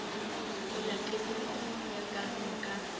mola qetellong ya karolo ka